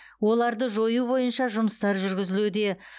оларды жою бойынша жұмыстар жүргізілуде